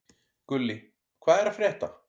Gulli, hvað er að frétta?